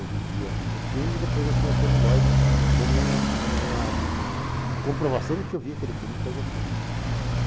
Eu vivia o filme e depois eu tinha o celulóide como uma, uma, comprovação de que eu via aquele filme e que eu gostei.